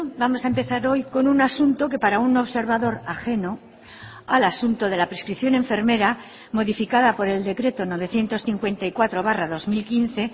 vamos a empezar hoy con un asunto que para un observador ajeno al asunto de la prescripción enfermera modificada por el decreto novecientos cincuenta y cuatro barra dos mil quince